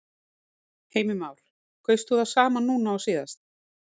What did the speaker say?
Heimir Már: Kaustu það sama núna og síðast?